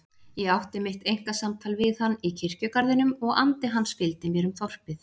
Ég átti mitt einkasamtal við hann í kirkjugarðinum og andi hans fylgdi mér um þorpið.